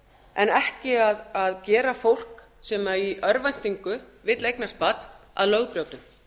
en ekki að gera fólk sem í örvæntingu vill eignast barn að lögbrjótum